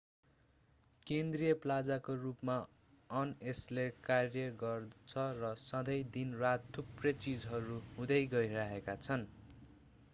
केन्द्रीय प्लाजाको रूपमा अन यसले कार्य गर्छ र सँधै दिन-रात थुप्रै चीजहरू हुँदै गइरहेका छन्